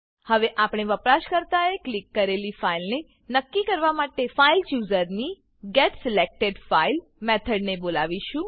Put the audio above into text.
હવે આપણે વપરાશકર્તાએ ક્લિક કરેલી ફાઈલને નક્કી કરવા માટે ફાઇલચૂઝર ફાઈલ ચુઝર ની getSelectedFile મેથડને બોલાવીશું